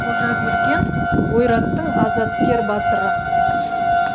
қожаберген ойраттың азаткер батыры